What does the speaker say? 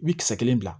I bi kisɛ kelen bila